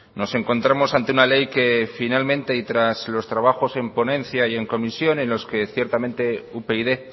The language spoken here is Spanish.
nos encontramos ante una ley que finalmente y tras los trabajos en ponencia y en comisión en los que ciertamente upyd